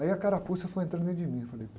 Aí a carapuça foi entrando dentro de mim, eu falei...